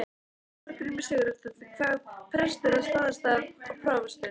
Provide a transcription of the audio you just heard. Þorgrímur Sigurðsson, síðar prestur á Staðarstað og prófastur.